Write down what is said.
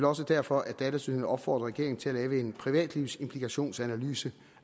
også derfor at datatilsynet opfordrer regeringen til at lave en privatlivsimplikationsanalyse